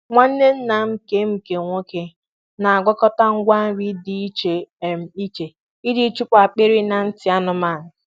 Nwanne nna m nke m nke nwoke na-agwakọta ngwa nri dị iche um iche iji chụpụ akpịrị na ntị anụmanụ.